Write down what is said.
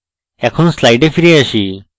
এখন slides ফিরে আসি